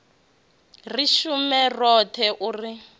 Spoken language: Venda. ri shume roṱhe u ri